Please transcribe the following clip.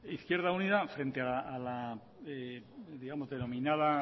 izquierda unida frente a la denominada